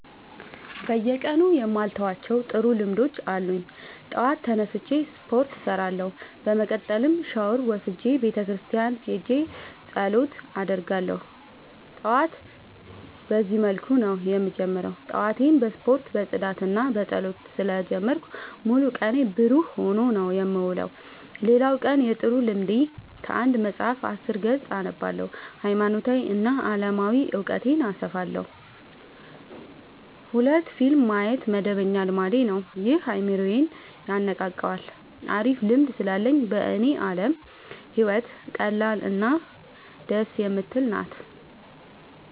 በየቀኑ የማልተዋቸው ጥሩ ልምዶች አሉኝ ጠዋት ተነስቼ ስፓርት እሰራለሁ። በመቀጠልም ሻውር ወስጄ ቤተክርስቲያን ሄጄ ፀሎት አደርጋለሁ ጠዋቴን በዚህ መልኩ ነው የምጀምረው። ጠዋቴን በስፖርት በፅዳትና በፀሎት ስለ ጀመርኩት ሙሉ ቀኔ ብሩህ ሆኖ ነው የምውለው። ሌላ የቀን ጥሩ ልምዴ ከአንድ መፀሀፍ አስር ገፅ አነባለሁ ሀይማኖታዊ እና አለማዊ እውቀቴን አሰፋለሁ። ሁለት ፊልም ማየት መደበኛ ልማዴ ነው ይህም አይምሮዬን የነቃቃዋል አሪፍ ልምድ ስላለኝ በኔ አለም ህይወት ቀላል እና ደስ የምትል ናት።